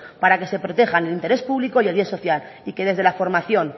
para que se protejan el interés público y el bien social y que desde la formación